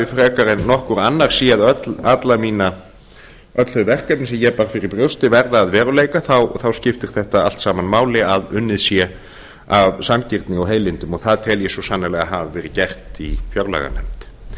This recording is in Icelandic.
frekar en nokkur annar séð öll þau verkefni sem ég bar fyrir brjósti verða að veruleika þá skiptir þetta allt saman máli að unnið sé af sanngirni og heilindum og það tel ég svo sannarlega hafa verið gert í fjárlaganefnd